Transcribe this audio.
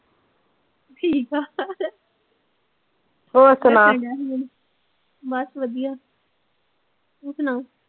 ਠੀਕ ਆ ਬਸ ਵਧੀਆ ਤੂੰ ਸੁਣਾ